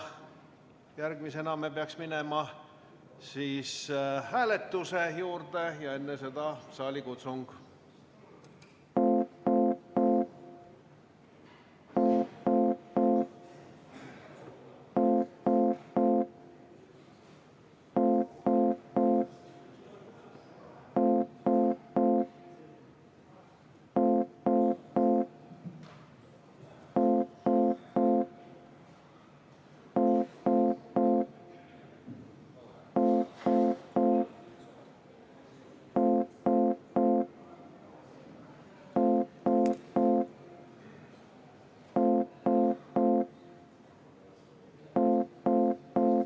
Järgmisena me peaks minema hääletuse juurde, enne seda saalikutsung.